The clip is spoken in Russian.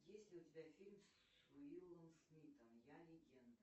есть ли у тебя фильм с уиллом смитом я легенда